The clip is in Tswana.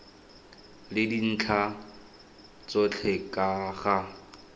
le dintlha tsotlhe ka ga